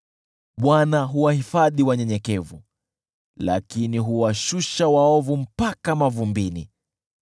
Bwana huwahifadhi wanyenyekevu lakini huwashusha waovu mpaka mavumbini.